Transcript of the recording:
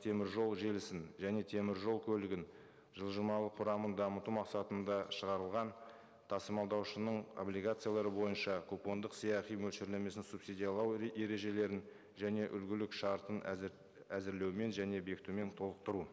теміржол желісін және теміржол көлігін жылжымалы құрамын дамыту мақсатында шығарылған тасымалдаушының облигациялары бойынша купондық сыйақы мөлшерлемесін субсидиялау ережелерін және үлгілік шартын әзірлеумен және бекітумен толықтыру